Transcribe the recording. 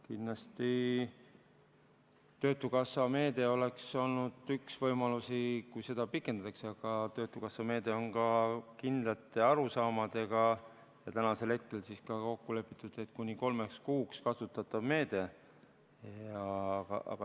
Kindlasti, töötukassa meede oleks olnud üks võimalusi, kui seda pikendatakse, aga töötukassa meede on ka kindlate arusaamadega ja on kokku lepitud, et see on kuni kolm kuud kasutatav meede.